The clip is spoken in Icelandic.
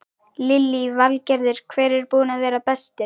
Lillý Valgerður: Hver er búinn að vera bestur?